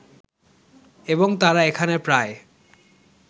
এবং তারা এখানে প্রায়